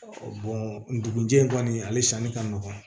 ndugun jɛ in kɔni ale sanni ka nɔgɔn